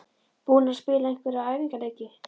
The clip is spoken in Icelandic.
Búnar að spila einhverja æfingaleiki?